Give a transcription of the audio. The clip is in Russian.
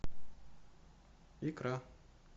икра